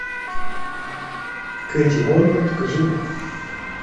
кэти морган покажи мне